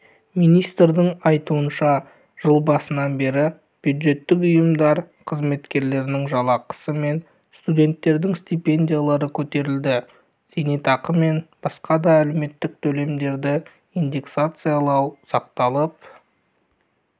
министрдің айтуынша жыл басынан бері бюджеттік ұйымдар қызметкерлерінің жалақысы мен студенттердің стипендиялары көтерілді зейнетақы мен басқа да әлеуметтік төлемдерді инденсакциялау сақталып